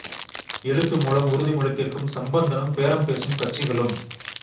எழுத்து மூலம் உறுதிமொழி கேட்கும் சம்பந்தனும் பேரம் பேசும் கட்சிகளும்